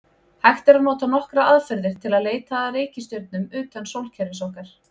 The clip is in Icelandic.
Hægt er að nota nokkrar aðferðir til að leita að reikistjörnum utan sólkerfis okkar.